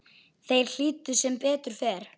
Þeir hlýddu, sem betur fer